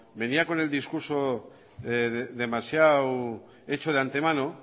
venía con el discurso demasiado hecho de antemano